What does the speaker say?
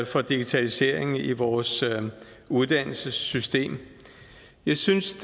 for digitalisering i vores uddannelsessystem jeg synes